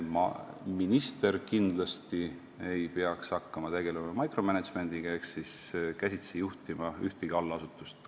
Minister kindlasti ei peaks hakkama tegelema micromanagement'iga ehk käsitsi ühtegi allasutust juhtima.